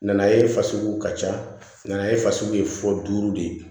Nanaye fasugu ka ca nana ye fasugu ye fɔ duuru de ye